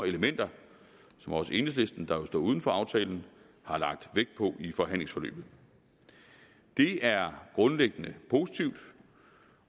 elementer som også enhedslisten der jo står uden for aftalen har lagt vægt på i forhandlingsforløbet det er grundlæggende positivt